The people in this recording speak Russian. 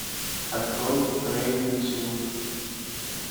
открой рейвенсвуд